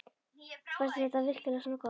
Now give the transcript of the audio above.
Fannst þér þetta virkilega svona gott?